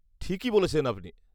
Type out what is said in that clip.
-না, আপনার ভুল হচ্ছে, আমার নাম অক্ষয়।